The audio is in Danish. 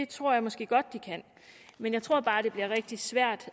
tror jeg måske godt de kan men jeg tror bare det bliver rigtig svært